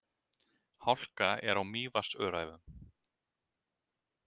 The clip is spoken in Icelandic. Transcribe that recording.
Hálka er á Mývatnsöræfum